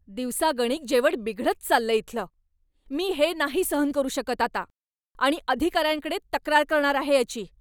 दिवसागणिक जेवण बिघडत चाललंय इथलं. मी हे नाही सहन करू शकत आता आणि अधिकाऱ्यांकडे तक्रार करणार आहे याची.